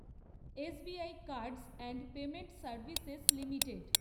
SBI cards and payment services limited